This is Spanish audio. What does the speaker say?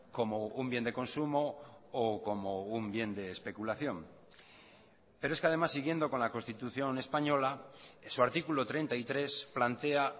como un bien de consumo o como un bien de especulación pero es que además siguiendo con la constitución española en su artículo treinta y tres plantea